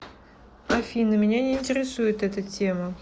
афина меня не интересует эта тема